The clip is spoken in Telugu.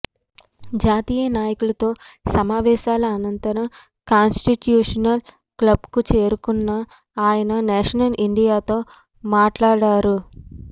జాతీయ నాయకులతో సమావేశాల అనంతరం కాన్స్టిట్యూషనల్ క్లబ్కు చేరుకున్న ఆయన నేషనల్ మీడియాతో మాట్లాడారు